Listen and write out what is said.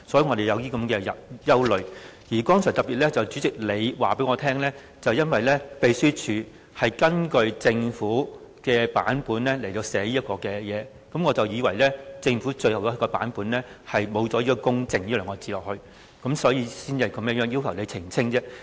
代理主席，剛才特別由於你告訴我，秘書處是根據政府的版本編寫這份撮要，令我以為政府最終的版本沒有"公正"這兩個字，所以才要求你澄清。